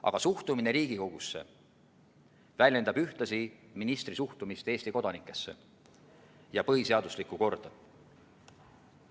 Aga suhtumine Riigikogusse väljendab ühtlasi ministri suhtumist Eesti kodanikesse ja põhiseaduslikku korda.